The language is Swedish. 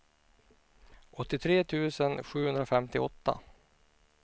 åttiotre tusen sjuhundrafemtioåtta